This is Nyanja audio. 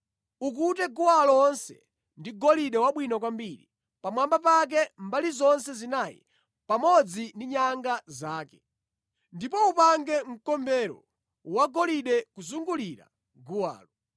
Ukute guwa lonse ndi golide wabwino kwambiri, pamwamba pake, mbali zonse zinayi, pamodzi ndi nyanga zake. Ndipo upange mkombero wagolide kuzungulira guwalo.